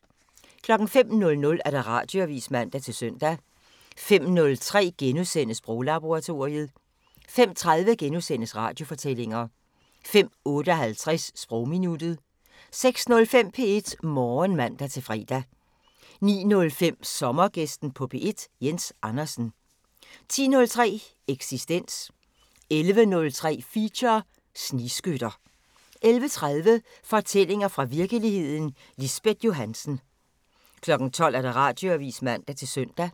05:00: Radioavisen (man-søn) 05:03: Sproglaboratoriet * 05:30: Radiofortællinger * 05:58: Sprogminuttet 06:05: P1 Morgen (man-fre) 09:05: Sommergæsten på P1: Jens Andersen 10:03: Eksistens 11:03: Feature: Snigskytter 11:30: Fortællinger fra virkeligheden – Lisbeth Johannsen 12:00: Radioavisen (man-søn)